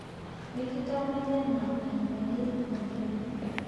Mikitamayiana Enkai oleng'.